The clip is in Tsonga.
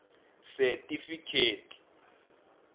setifikheti